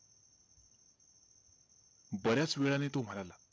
बर्याच वेळाने तो म्हणाला,